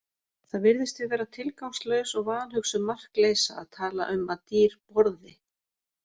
Það virðist því vera tilgangslaus og vanhugsuð markleysa að tala um að dýr borði.